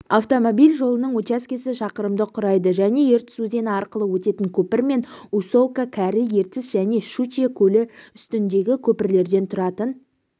автомобиль жолының учаскесі шақырымды құрайды және ертіс өзені арқылы өтетін көпір мен усолка кәрі ертіс және шучье көлі үстіндегі көпірлерден тұратын